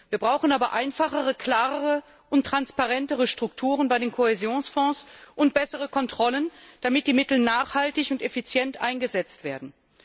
Wir brauchen aber einfachere, klarere und transparentere Strukturen bei den Kohäsionsfonds und bessere Kontrollen, damit die Mittel nachhaltig und effizient eingesetzt werden.